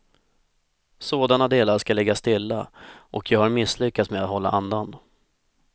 Sådana delar ska ligga stilla och jag har misslyckats med att hålla andan.